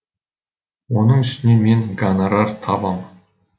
оның үстіне мен гонорар табам